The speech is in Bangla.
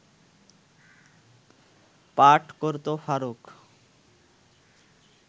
পাঠ করত ফারুক